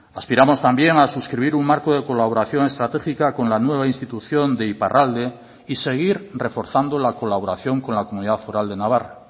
aspiramos también a suscribir un marco de colaboración estratégica con la nueva institución de iparralde y seguir reforzando la colaboración con la comunidad foral de navarra